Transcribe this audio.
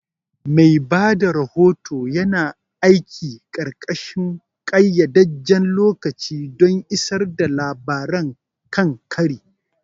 Mai ba da rahoto yana aiki ƙarƙashin ƙayyadadden lokaci don isar da labaran kan kari.